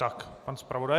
Tak, pan zpravodaj.